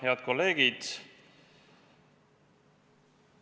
Head kolleegid!